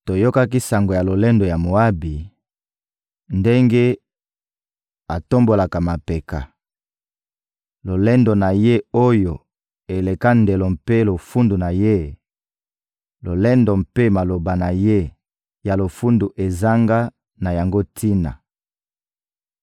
Toyokaki sango ya lolendo ya Moabi, ndenge atombolaka mapeka: lolendo na ye oyo eleka ndelo mpe lofundu na ye, lolendo mpe maloba na ye ya lofundu ezanga na yango tina.